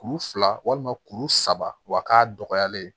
Kuru fila walima kuru saba wak'a dɔgɔyalen